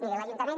miri l’ajuntament